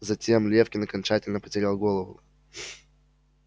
затем лефкин окончательно потерял голову